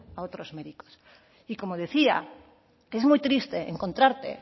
a otros méritos y como decía es muy triste encontrarte